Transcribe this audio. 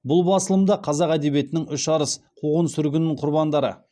бұл басылым да үш арыс қуғын сүргін құрбандары